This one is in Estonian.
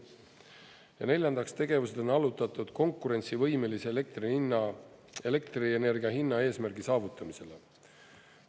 Ja neljandaks, tegevused on allutatud konkurentsivõimelise elektri hinna, elektrienergia hinna eesmärgi saavutamisele.